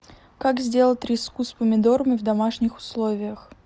как сделать треску с помидорами в домашних условиях